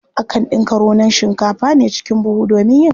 Akan ɗinka raunon shikafa a ne cikin buhu domin yin katifa.